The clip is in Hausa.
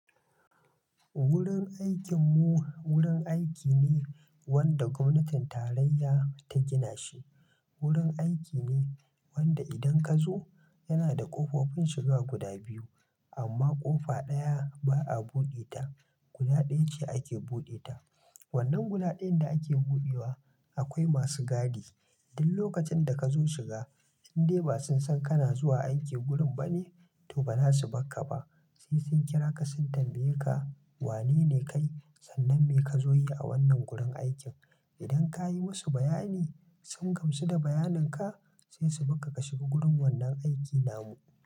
Wurin aikinmu wurin aiki ne wanda gwamnatin tarayya ta gina shi. Wurin aiki ne wanda idan ka zo yana da ƙofofin shiga guda biyu, amma ƙofa ɗaya ba a buɗe ta. Guda ɗaya ce ake buɗe ta. Wannan guda ɗayan da ake buɗewa akwai masu gadi. Duk lokacin da kazo shiga indai ba sun san kana zuwa aiki wurin bane toh bazasu barka ba sai sun kira ka sun tambaye ka, wane ne kai sannan me ka zo yi a wannan gurin aikin? Idan ka yi musu bayani sun gamsu da bayanin ka sai su barka ka shiga wurin wannan aiki namu.